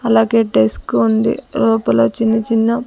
అలాగే డెస్క్ ఉంది లోపల చిన్న చిన్న--